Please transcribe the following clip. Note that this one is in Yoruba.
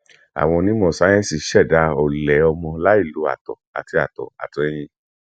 àwọn onímọ sáyẹǹsì ṣẹdá ọlẹ ọmọ láì lo àtọ àti àtọ àti ẹyìn